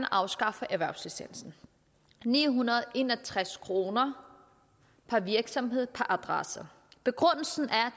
afskaffe erhvervslicensen ni hundrede og en og tres kroner per virksomhed per adresse begrundelsen er